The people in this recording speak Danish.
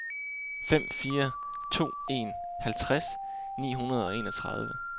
fem fire to en halvtreds ni hundrede og enogtredive